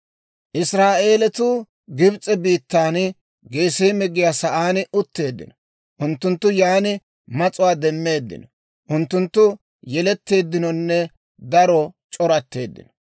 Israa'eeletuu Gibs'e biittan Geseeme giyaa saan utteeddino; unttunttu yan mas'uwaa demmeeddino; unttunttu yeletteeddinonne daro c'oratteeddino.